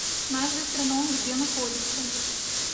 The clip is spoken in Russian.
наш гастроном где находится